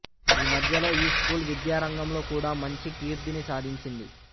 ఈ మధ్యలో ఈ స్కూల్ విద్యా రంగంలో కూడా మంచి కీర్థిని సాధించింది